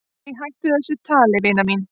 """Æ, hættu þessu tali, vina mín."""